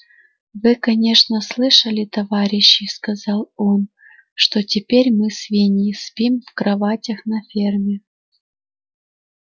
вы конечно слышали товарищи сказал он что теперь мы свиньи спим в кроватях на ферме